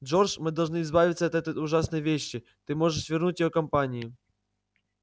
джордж мы должны избавиться от этой ужасной вещи ты можешь вернуть её компании